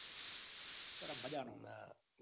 સાલા બધા નું